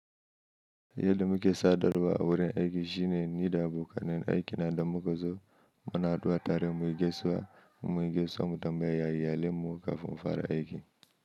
Yadda muke sadarwa a wurin aiki shine niɗa abokanen aiki na damukazo, muna haduwa tare mu yi gaisuwa in munyi yi gaisuwa mu tambaya ya iyalen mu kafin mufara aiki.